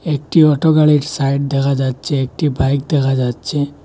একটি অটো গাড়ীর সাইড দেখা যাচ্চে একটি বাইক দেখা যাচ্চে।